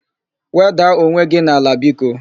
Wedaa onwe gị n'ala biko!